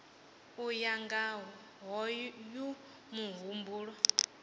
u ya nga hoyu muhumbulo